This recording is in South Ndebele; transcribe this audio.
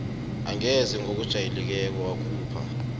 angeze ngokujayelekileko yakhupha